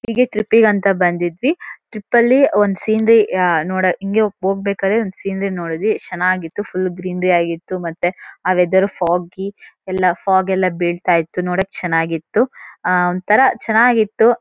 ಹೀಗೆ ಟ್ರಿಪ್ಪಿಗ್ ಅಂತ ಬಂದಿದ್ವಿ ಟ್ರಿಪ್ಪಲ್ಲಿ ಒಂದ್ ಸೀನ್ರೀ ಅಹ್ ನೋಡ-- ಹಿಂಗೇ ಹೋಗ್ಬೇಕಾರೆ ಒಂದು ಸೀನ್ರೀ ನೋಡಿದ್ವಿ ಎಷ್ಟ್ ಚೆನ್ನಾಗಿತ್ತು ಫುಲ್ ಗ್ರೀನ್ರಿ ಆಗಿತ್ತು ಮತ್ತೆ ಆ ವೆದರ್ ಫೋಗ್ಗಿ ಎಲ್ಲಾ ಫಾಗ್ ಎಲ್ಲ ಬೀಳ್ತಾ ಇತ್ತು ನೋಡಕ್ ಚೆನ್ನಾಗಿತ್ತು ಅಹ್ ಒಂತರ ಚೆನ್ನಾಗಿತ್ತು.